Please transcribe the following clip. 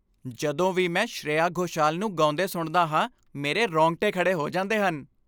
ਜਦੋਂ ਵੀ ਮੈਂ ਸ਼੍ਰੇਆ ਘੋਸ਼ਾਲ ਨੂੰ ਗਾਉਂਦੇ ਸੁਣਦਾ ਹਾਂ, ਮੇਰੇ ਰੋਂਗਟੇ ਖੜ੍ਹੇ ਹੋ ਜਾਂਦੇ ਹਨ।